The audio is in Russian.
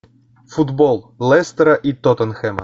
футбол лестера и тоттенхэма